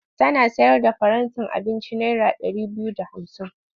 Tana sayar da farantin abinci naira ɗari biyu da hamsin.